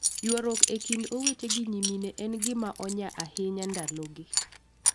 Ywaruok e kind owete gi nyimine en gima onya ahinya ndalogi.